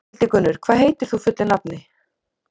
Hildigunnur, hvað heitir þú fullu nafni?